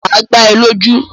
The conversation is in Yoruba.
Máa gbá é lójú